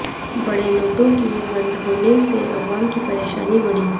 بڑے نوٹوں کے بند ہونےسے عوام کی پریشانی بڑھی